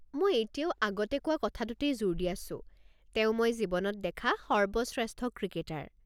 মই এতিয়াও আগতে কোৱা কথাটোতেই জোৰ দি আছো, তেওঁ মই জীৱনত দেখা সৰ্বশ্ৰেষ্ঠ ক্ৰিকেটাৰ।